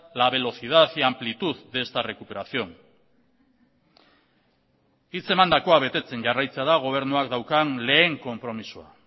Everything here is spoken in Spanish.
la velocidad y amplitud de esta recuperación hitz emandakoa betetzen jarraitzea da gobernuak daukan lehen konpromisoa